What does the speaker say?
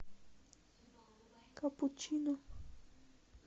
капучино